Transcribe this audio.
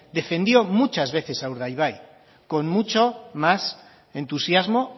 defendió muchas veces a urdaibai con mucho más entusiasmo